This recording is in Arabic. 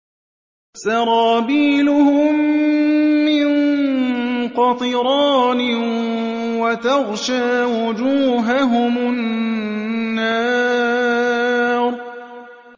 سَرَابِيلُهُم مِّن قَطِرَانٍ وَتَغْشَىٰ وُجُوهَهُمُ النَّارُ